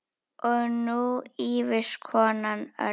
Og nú ýfist konan öll.